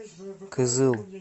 кызыл